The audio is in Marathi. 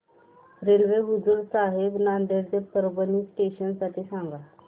रेल्वे हुजूर साहेब नांदेड ते परभणी जंक्शन साठी सांगा